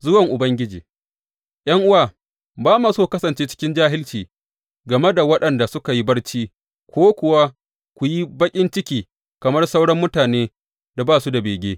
Zuwan Ubangiji ’Yan’uwa, ba ma so ku kasance cikin jahilci game da waɗanda suka yi barci, ko kuwa ku yi baƙin ciki kamar sauran mutanen da ba su da bege.